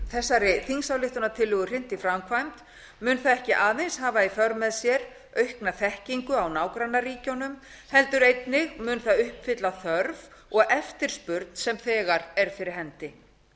hrint í framkvæmd mun það ekki aðeins hafa í för með sér aukna þekkingu á nágrannaríkjunum heldur mun það einnig uppfylla þörf og eftirspurn sem þegar er fyrir hendi